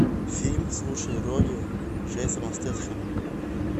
фильм с лучшей ролью джейсона стэтхэма